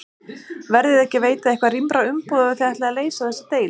Verðiði ekki að veita eitthvað rýmra umboð ef að þið ætlið að leysa þessa deilu?